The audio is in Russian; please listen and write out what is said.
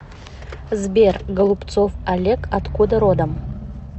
сбер голубцов олег откуда родом